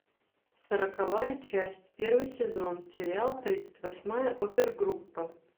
сороковая часть первый сезон сериал тридцать восьмая опер группа